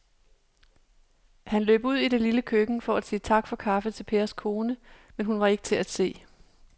Han løb ud i det lille køkken for at sige tak for kaffe til Pers kone, men hun var ikke til at se.